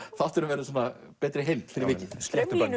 þátturinn verður svona betri heild fyrir vikið